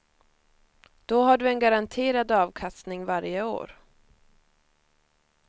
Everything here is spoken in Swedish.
Då har du en garanterad avkastning varje år.